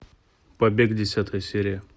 побег десятая серия